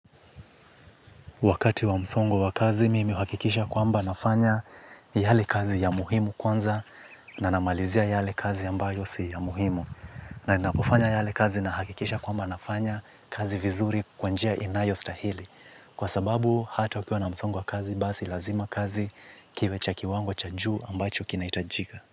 Wakati wa msongo wa kazi, mimi huhakikisha kwamba nafanya yale kazi ya muhimu kwanza na namalizia yale kazi ambayo si ya muhimu. Na napofanya yale kazi na hakikisha kwamba nafanya kazi vizuri kwa njia inayo stahili. Kwa sababu, hata ukiwa na msongo wa kazi, basi lazima kazi kiwe cha kiwango cha juu ambacho kina hitajika.